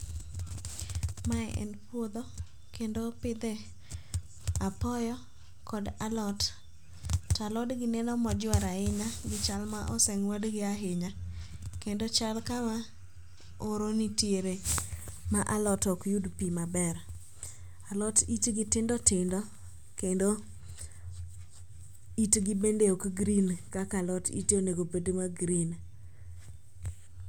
Mae en puodho kendo opidhe apoyo kod alot. To alodgi neno mojwer ahinya gichal ma oseng'wedgi ahinya kendo ochal kama oro nitiere ma alot okyud pi maber. Alot itgi tindotindo kendo itgi bende ok green kaka alot ite onegobed ma green.